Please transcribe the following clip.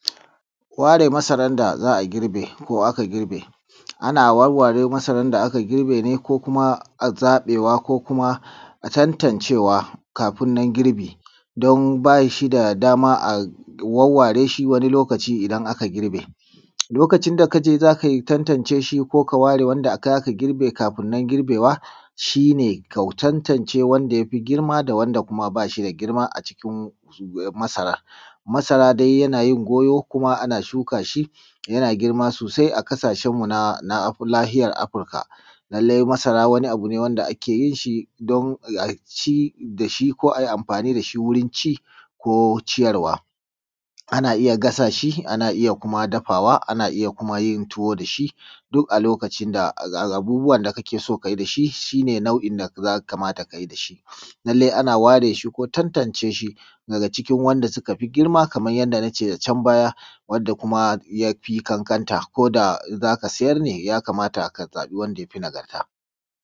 Ware masarar da aka girbe ko za a girbe. Ana wawware masarar da aka girbe ne ko kuma zabewa ko kuma a tantancewa kafin na girbi don ba shi da dama a wauware shi wani lokaci idan aka girbe. Lokaci da ka je za ka tantance shi ko ka ware kai aka girbe kafin nan girbewan shi ka tantance wanda ya fi girma da wanda ba shi da girma a cikin masarar. Masara dai yana yin goyo kuma na shuka shi yana girma sosai a kasashen na nahiyar Afirka. lallai masara wani abu ne wanda ake yi da shi don a ci da shi ko a yi amfani da shi wurin ci ko ciyarwa. Ana iya gasashi ana iya kuma dafawa ana iya kuma yin tuwo da shi duk a lokacin da abubuwa da kake so ka yi da shi. Shi ne nau'in da ya kamata ka yi da shi. Lallai ana ware shi ko tattance shi daga cikin wanda suka fi girma kamar yadda na ce a can baya wanda kuma ya fi kankanta ko da za ka sayar ne ya kamata ka zabi wanda ya fi nagarta.